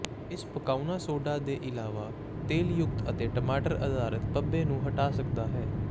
ਇਸ ਪਕਾਉਣਾ ਸੋਡਾ ਦੇ ਇਲਾਵਾ ਤੇਲਯੁਕਤ ਅਤੇ ਟਮਾਟਰ ਅਧਾਰਤ ਧੱਬੇ ਨੂੰ ਹਟਾ ਸਕਦਾ ਹੈ